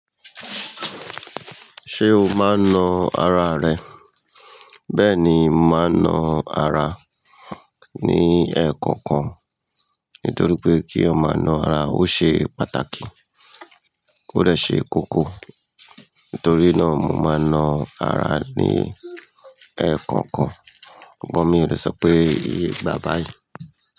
Ṣé o máa ń na ara rẹ? Bẹ́ẹ̀ ni, mà á na ara ní ẹẹ̀ẹ̀kọ̀kan nítorí pé kí a máa na ara ó ṣe pàtàkì, ó dẹ̀ ṣe kókó. Nítorí náà mo máa na ara ní ẹẹ̀ẹ̀kọ̀kan. Bọ mi o lè sọ pé ìgbà bá yẹn.